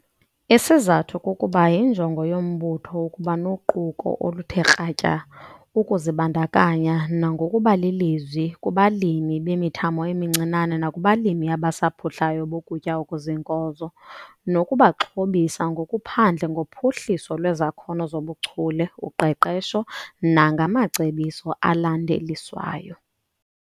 Isizathu kukuba yinjongo yombutho ukuba noquko oluthe kratya ukuzibandakanya nangokuba lilizwi kubalimi bemithamo emincinane nakubalimi abasaphuhlayo bokutya okuziinkozo, nokubaxhobisa ngokuphandle ngophuhliso lwezakhono zobuchule, uqeqesho nangamacebiso alandeliswayo.